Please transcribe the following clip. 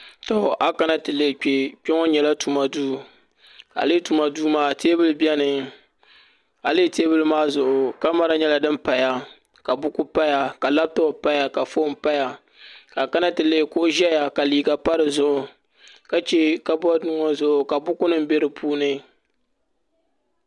a kana ti lihi kpɛ kpɛ ŋɔ nyɛla tuma duu a lihi tuma duu maa teebuli biɛni a lihi teebuli maa zuɣu kamɛra nyɛla din paya ka buku paya ka labtop paya ka foon paya ka a kana ti lihi kuɣu ʒɛya ka liiga pa dizuɣu ka chɛ kabood ŋɔ zuɣu ka buku nim bɛ di puuni